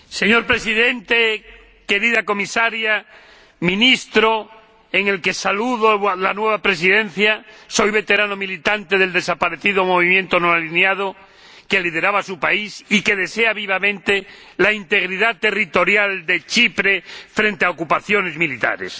Señor Presidente, señora Comisaria, señor Ministro en el que saludo a la nueva Presidencia soy un veterano militante del desaparecido Movimiento de los No Alineados, que lideraba su país, y que desea vivamente la integridad territorial de Chipre frente a ocupaciones militares.